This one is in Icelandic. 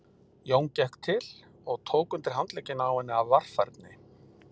Jón gekk til og tók undir handlegginn á henni af varfærni.